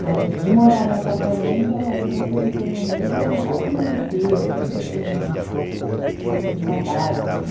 Mas, de morar em apartamento, a lembrança que eu tenho mesmo, eu quase não descia, eu sempre fui mais recatada, assim.